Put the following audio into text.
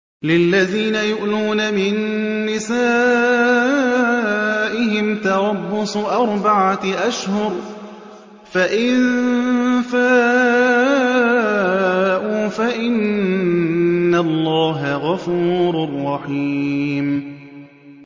لِّلَّذِينَ يُؤْلُونَ مِن نِّسَائِهِمْ تَرَبُّصُ أَرْبَعَةِ أَشْهُرٍ ۖ فَإِن فَاءُوا فَإِنَّ اللَّهَ غَفُورٌ رَّحِيمٌ